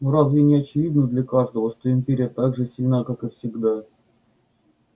но разве не очевидно для каждого что империя так же сильна как и всегда